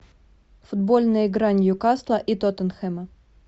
футбольная игра ньюкасла и тоттенхэма